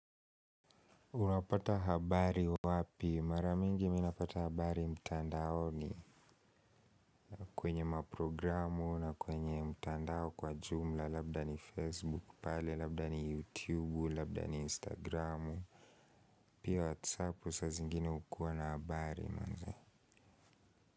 Unapata habari wapi? Mara mingi mimi napata habari mtandaoni kwenye maprogramu na kwenye mtandao kwa jumla labda ni Facebook pale, labdani YouTube, labda ni Instagramu. Pia WhatsApp saa zingine hukua na habari manze.